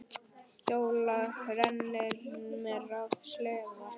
Hjóla, renni mér á sleða.